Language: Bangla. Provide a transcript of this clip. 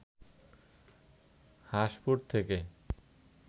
হাসঁপুর থেকে